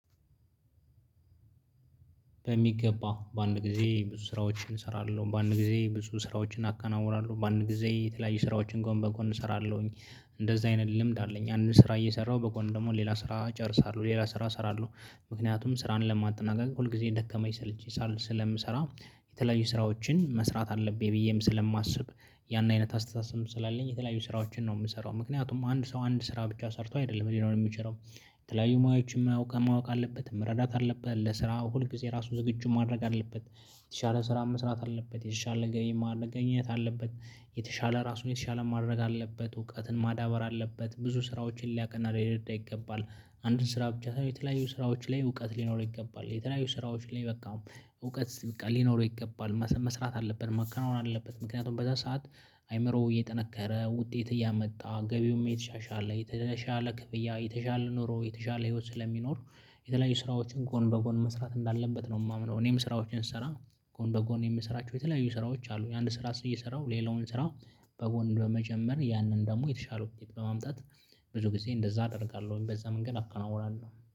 በሚገባው በአንድ ጊዜ ብዙ ስራዎችን እሰራለሁ፤ በአንድ ጊዜ ብዙ ስራዎችን አከናውናለሁ፤ በአንድ ጊዜ የተለያየ ስራዎችን ጎን በጎን እሰራለሁኝ፤ እንደዛ አይነት ልምድ አለኝ አንድ ስራ እየሰራሁ በጎን ደግሞ ሌላ ስራ ጨርሳለሁ ሌላ ስራ እሰራለሁ ምክንያቱም ስራን ለማጠናቀቅ ሁል ጊዜ ደከመኝ ሰለቸኝ ሳልል ስለምሰራ የተለያዩ ስራዎችን መስራት አለብኝ ብዬም ስለማስብ ያን አይነት አስተሳሰብ ስላለኝ የተለያዩ ስራዎችን ነው የምሰራው ምክንያቱም አንድ ሰው አንድ ስራ ብቻ ሰርቶ አይደለም ሊኖር የሚችለው። የተለያዩ ማዮችን ማወቅ ማወቅ አለበት መረዳት አለበት ለስራ ሁልጊዜ ራሱ ዝግጁ ማድረግ አለበት። የተሻለ ስራ መስራት አለበት የተሻለ ማግኘት አለበት። የተሻለ ራሱን የተሻለ ማድረግ አለበት እውቀትን ማዳበር አለበት ብዙ ስራዎችን ሊያቅና ሊረዳ ይገባል። አንድን ስራ ብቻ ሳይሆን የተለያዩ ስራዎች ላይ እውቀት ሊኖረው ይገባል የተለያዩ ስራዎች ላይ በቃ። እውቀት ሊኖረው ይገባል መስራት አለብን መከናወን አለበት ምክንያቱም በዛ ሰዓት አይምሮ እየጠነከረ ውጤት እያመጣ ገቢውም የተሻሻለ የተሻለ ክብያ የተሻለ ኑሮ የተሻለ ህይወት ስለሚኖር። የተለያዩ ስራዎችን ጎን በጎን መስራት እንዳለበት ነው የማምነው። እኔም ስራዎችን ስሰራ ጎን በጎን የምሰራቸው የተለያዩ ስራዎች አሉ። የአንድ ስራ እየሰራው ሌላውን ስራ በጎን በመጨመር ያንን ደግሞ የተሻለው እንዴት በማምጣት? ብዙ ጊዜ እንደዛ አደርጋለሁኝ በዛ መንገድ አከናውናለሁ